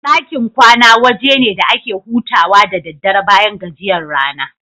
Ɗakin kwana waje ne da ake hutawa da daddare bayan gajiyan rana.